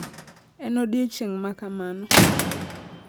En odiechieng' ma kamano